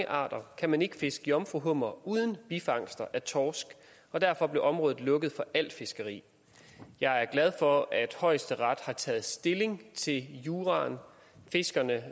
arter kan man ikke fiske jomfruhummere uden bifangster af torsk derfor blev området lukket for al fiskeri jeg er glad for at højesteret har taget stilling til juraen fiskerne